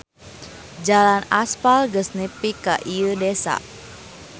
Jalan aspal geus nepi ka ieu desa.